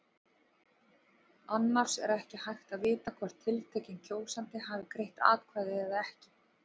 Annars er ekki hægt að vita hvort tiltekinn kjósandi hafi greitt atkvæði eða ekki.